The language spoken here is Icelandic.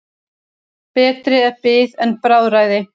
Betri er bið en bráðræði.